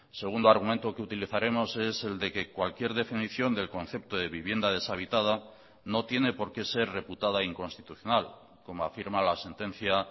segundo argumento que utilizaremos es el de que cualquier definición del concepto de vivienda deshabitada no tiene por qué ser reputada inconstitucional como afirma la sentencia